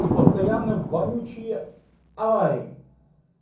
и постоянно вонючие аварии